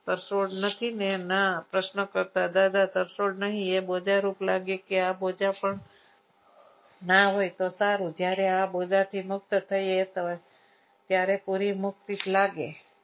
તર છોડ નથી ને ના પ્રશ્ન કરતા દાદા તરછોડ નહીં એ બોજા લાગે કે આ બુજારૂપ પણ ના હોય તો સારું જ્યારે આ બોજાતી મુક્ત થઈએ ત્યારે પૂરી મુક્તિ લાગે.